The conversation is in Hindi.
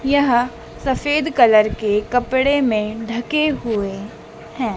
यह सफेद कलर के कपड़े में ढके हुए हैं।